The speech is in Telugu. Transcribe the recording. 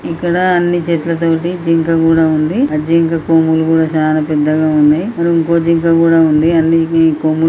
ఇక్కడ అన్ని చెట్లతోటి జింక కూడ వుంది ఆ జింక కొమ్ములు కూడ సాన పెద్దగా ఉన్నాయ్ ఇక్కడ ఇంకో జింక కూడ వుంది కొమ్ములు --